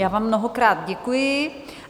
Já vám mnohokrát děkuji.